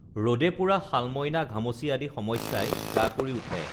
ৰদে পোৰা শালম‍ইনা ঘামচি আদি সমস্যাই গা কৰি উঠে